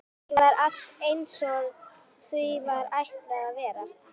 Kannski var allt einsog því var ætlað að vera.